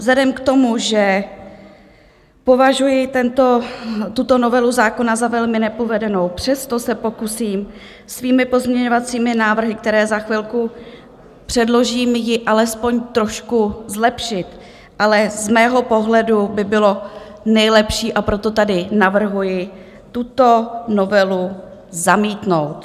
Vzhledem k tomu, že považuji tuto novelu zákona za velmi nepovedenou, přesto se pokusím svými pozměňovacími návrhy, které za chvilku předložím, ji alespoň trošku zlepšit, ale z mého pohledu by bylo nejlepší, a proto tady navrhuji, tuto novelu zamítnout.